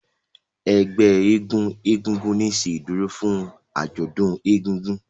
Ègbé éégun egúngún ní ṣe ìdúró fún ajọdún ègùngùn.